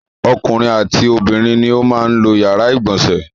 Ọkùnrin àti obìnrin ni ó máa ń lo ìyàrá-ìgbọ̀nsẹ̀.